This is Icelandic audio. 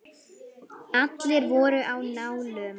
Allir voru á nálum.